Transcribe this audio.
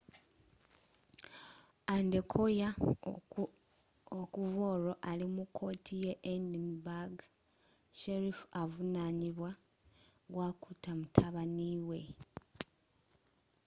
adekoya okuv'olwo ali mu kooti y'e edinburgh sheriff avunanibwa gwakutta mutabaniwwe